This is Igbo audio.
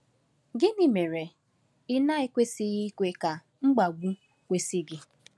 Gịnị mere ị na-ekwesịghị ikwe ka mkpagbu kwụsị gị?